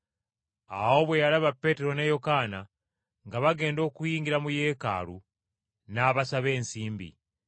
Awo bwe yalaba Peetero ne Yokaana nga bagenda okuyingira mu yeekaalu n’abasaba ensimbi.